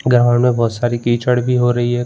Ground में बहुत सारी कीचड़ भी हो रही है।